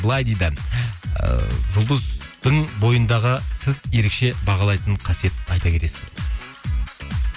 былай дейді ыыы жұлдыздың бойындағы сіз ерекше бағалайтын қасиетін айта кетесіз бе